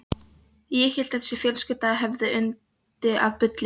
Ég hélt að þessi fjölskylda hefði yndi af bulli.